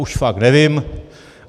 Už fakt nevím.